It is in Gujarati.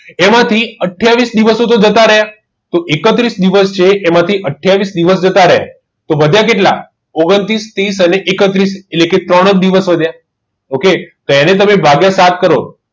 એમાંથી આથીયાવિસ દિવસ હતો જતા રહ્યા ટોં એકત્રીસ દિવસ છે જેમથી આથીયાવિસ દિવસ જતાં રહે ટોં વધીય કેટલા ઓગન્તૃસ ત્રીસ એકત્રીસ એટલે કે ત્રણ જ દિવસ વધીય ટોં એને તમે ભાગીય સાત કરો